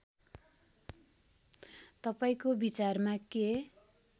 तपाईँको विचारमा के